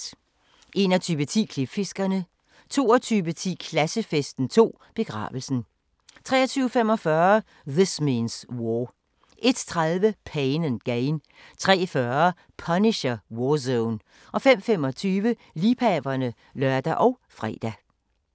21:10: Klipfiskerne 22:10: Klassefesten 2: Begravelsen 23:45: This Means War 01:30: Pain & Gain 03:40: Punisher: War Zone 05:25: Liebhaverne (lør og fre)